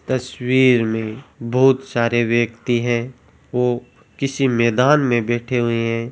तस्वीर में बहुत सारे व्यक्ति है वो किसी मैदान में बैठे हुए है।